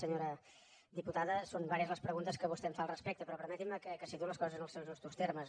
senyora diputada són diverses les preguntes que vostè em fa al respecte però permetin me que situï les coses en els seus justos termes